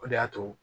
O de y'a to